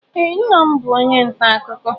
Ee nna m bụ onye nta akụkọ